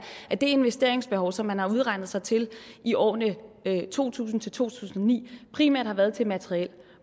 at det investeringsbehov som man har udregnet sig til i årene to tusind til to tusind og ni primært har været til materiel